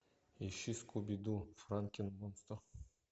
ищи скуби ду франкен монстр